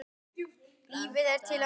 Lífið er til að njóta.